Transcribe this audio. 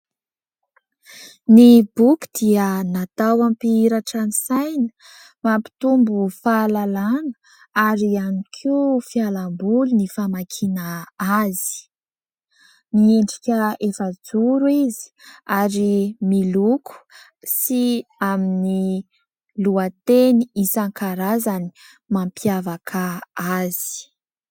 Ny boky dia natao hampihiratra ny saina, mampitombo fahalalàna ary ihany koa fialamboly ny famakiana azy. Miendrika efa-joro izy ary miloko sy amin'ny lohateny isan-karazany mampiavaka azy.